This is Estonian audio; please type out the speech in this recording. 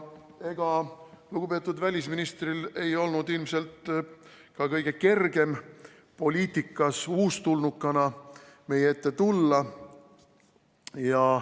Ega lugupeetud välisministril ei olnud ilmselt ka kõige kergem poliitikas uustulnukana meie ette tulla.